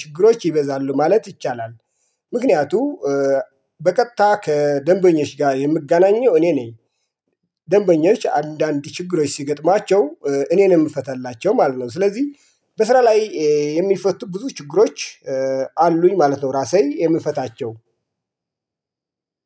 ሽግሮች ይበዛሉ ማለት ይቻላል። ምክንያቱም በቀጥታ ከደንበኞች ጋር የምገናኘው እኔ ነኝ። ደንበኞች አንዳንድ ችግሮች ሲገጥማቸው እኔ ነው የምፈታላቸው ማለት ነው። ስለዚህ በስራ ላይ የሚፈቱ ብዙ ችግሮች አሉኝ ማለት ነው። ራሴ የምፈታቸው